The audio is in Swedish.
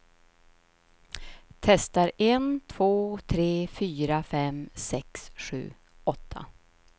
Testar en två tre fyra fem sex sju åtta.